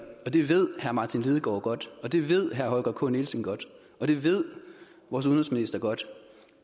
og det ved herre martin lidegaard godt og det ved herre holger k nielsen godt og det ved vores udenrigsminister godt